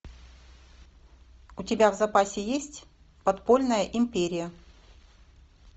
у тебя в запасе есть подпольная империя